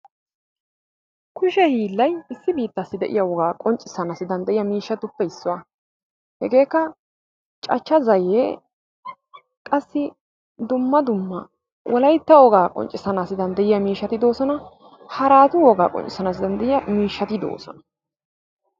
Kushe hiillay issi biittaassi de'iya wogaa qonccissanaaassi danddayiya miishshatuppe issuwa. Hegeekka cachcha zayyee, qassi dumma dumma wolaytta wogaa qonccissanaassi danddayiya miishshati de'oosona. Haraatu wogaa qonccissanaassi danddayiya miishshati de'oosona.